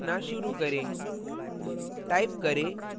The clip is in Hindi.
अब program लिखना शुरू करें